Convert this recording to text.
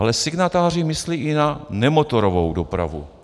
Ale signatáři myslí i na nemotorovou dopravu.